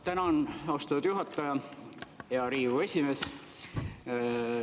Tänan, austatud juhataja, hea Riigikogu esimees!